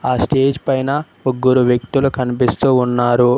ఆ స్టేజ్ పైన ముగ్గురు వ్యక్తులు కనిపిస్తూ ఉన్నారు.